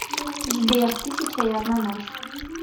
сбер тысяча и одна ночь